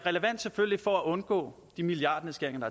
selvfølgelig relevant for at undgå de milliardnedskæringer